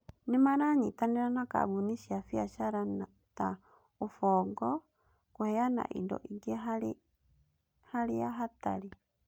Nĩ maranyitanĩra na kambuni cia biacara ta Ubongo kũheana indo ingĩ harĩa hatarĩ.